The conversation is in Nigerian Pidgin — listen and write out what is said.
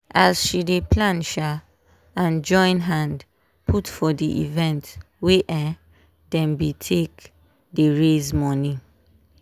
as she dey plan um and join hand put for di event wey um dem be take dey raise money